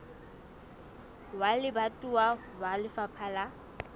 wa lebatowa wa lefapha la